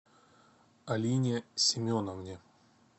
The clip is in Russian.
алине семеновне